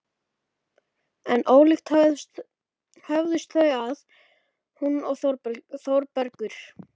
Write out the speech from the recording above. En ólíkt höfðust þau að, hún og Þórbergur.